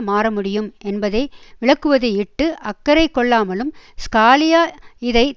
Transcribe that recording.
மாறமுடியும் என்பதை விளக்குவதையிட்டு அக்கறை கொள்ளாமலும் ஸ்காலியா இதை